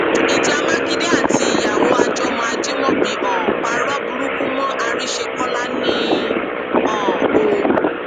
ìjà mákindé àtìyàwó àjọmọ ajímọbí um parọ burúkú mọ àrísékọlá ni um o